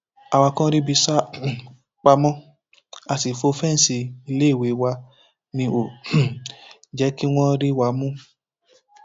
àwa kan ríbi sá um pamọ a sì fọ fẹǹsì iléèwé wa ni ò um jẹ kí wọn rí wa mú